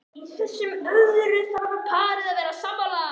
Í þessu sem öðru þarf parið að vera sammála.